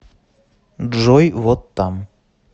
джой вот там